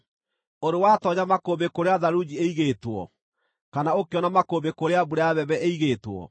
“Ũrĩ watoonya makũmbĩ kũrĩa tharunji ĩigĩtwo, kana ũkĩona makũmbĩ kũrĩa mbura ya mbembe ĩigĩtwo,